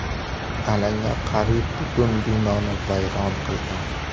Alanga qariyb butun binoni vayron qilgan.